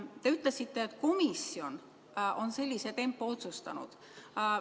Te ütlesite, et komisjon on sellise tempo otsustanud.